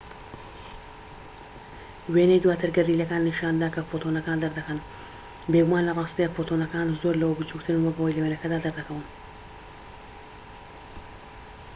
وێنەی دواتر گەردیلەکان نیشان دەدات کە فۆتۆنەکان دەردەکەن بێگومان لە ڕاستیدا فۆتۆنەکان زۆر لەوە بچووکترن وەک ئەوەی لە وێنەکەدا دەردەکەون